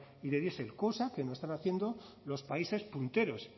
y de diesel cosa que no están haciendo los países punteros